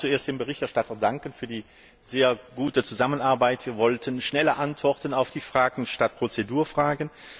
Ich möchte auch zuerst dem Berichterstatter für die sehr gute Zusammenarbeit danken. Wir wollten schnelle Antworten auf die Fragen statt Prozedurfragen.